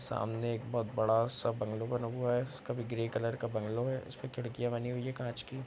सामने एक बहोत बड़ा सा बंगलो हुआ है। इसका भी ग्रे कलर का बंगलो है। इसपे खिड़कियां बनी हुई हैं कांच की।